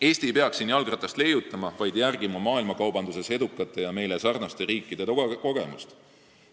Eesti ei peaks siin jalgratast leiutama, vaid järgima maailmakaubanduses edukate ja meiega sarnaste riikide kogemusi.